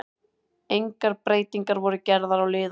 Engar breytingar voru gerðar á liðunum.